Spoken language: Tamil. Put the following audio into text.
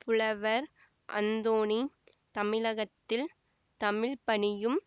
புலவர் அந்தோனி தமிழகத்தில் தமிழ்ப்பணியும்